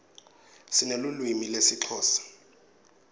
sinelulwimi lesixhosa